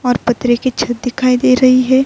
اور پترے کی چھٹ دکھائی دے رہی ہے۔